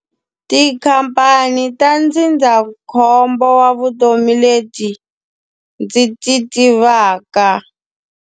Tikhamphani ta ndzindzakhombo wa vutomi leti ndzi ti tivaka.